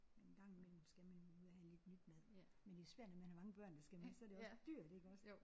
Men en gang imellem skal man jo ud og have lidt nyt mad. Men det er svært når man har mange børn der skal med så er det også dyrt iggås